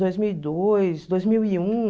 Dois mil e dois, dois mil e um.